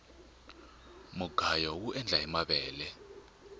mugayo uendla hi mavele